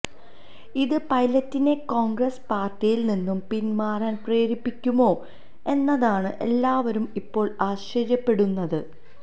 ഇത് പൈലറ്റിനെ കോണ്ഗ്രസ് പാര്ട്ടിയില് നിന്ന് പിന്മാറാന് പ്രേരിപ്പിക്കുമോ എന്നതാണ് എല്ലാവരും ഇപ്പോള് ആശ്ചര്യപ്പെടുന്നത്